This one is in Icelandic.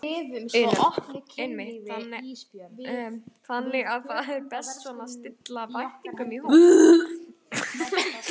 Una: Einmitt, þannig að það er best svona að stilla væntingunum í hóf?